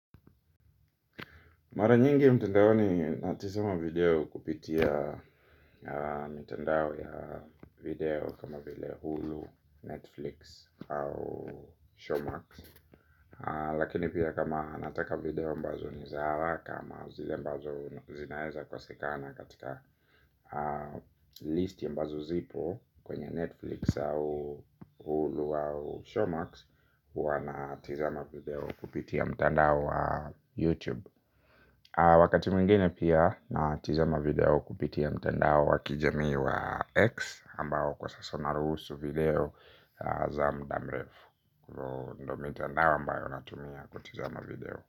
Mara nyingi mtandaoni natizama video kupitia mitandao ya video kama vile Hulu, Netflix au Showmax. Lakini pia kama nataka video ambazo ni za haraka ama zile ambazo zinaeza kosekana katika list ambazo zipo Kwenye Netflix au Hulu au Showmax huwa natizama video kupitia mtandao wa YouTube. Wakati mwingine pia natizama video kupitia mtandao wa kijamii wa X Ambao kwa sasa unaruhusu video za muda mrefu ndo mitandao ambayo natumia kutizama video.